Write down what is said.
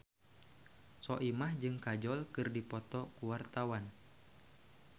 Soimah jeung Kajol keur dipoto ku wartawan